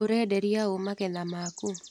ũrenderia ũ magetha maku.